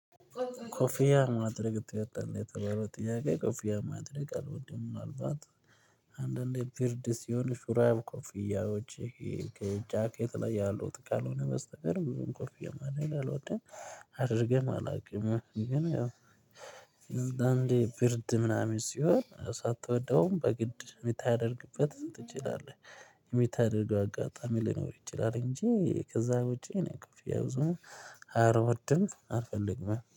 ኮፊያ ማድረግ የተባለው ጥያቄ? ኮፊያ ማድረግ አለወድም ምናልባት አንዳንዴ ብርድ ሲሆን ሹራብ ኮፍያዎች ጃኬት ላይ ያሉት ከልሆነ በስተቀር ኮፍያ ማድረግ አላወድም። አድርጌም አላውቅም ግን ያው አንዴ ብርድ ምናምን ሲሆን ሳትወደውም በግድ ሚታደርግበት ትችላለህ ሚታደርገው አጋጣሚ ሊኖር ይችላል። እንጂ ከዚያ ውጪ እኔ ክፍያ ብዙ አልወድም አልፈልግም